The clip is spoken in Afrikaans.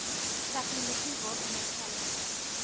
tegnologie waaronder telefoon